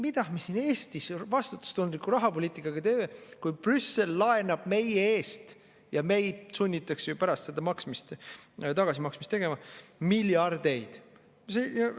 Mida me siin Eestis vastutustundliku rahapoliitikaga teeme, kui Brüssel laenab meie eest ja meid sunnitakse pärast seda tagasi maksma miljardeid?!